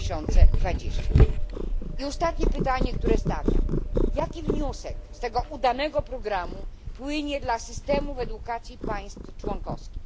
2020. Ostatnie pytanie, które stawiam jaki wniosek z tego udanego programu płynie dla systemów edukacji państw członkowskich?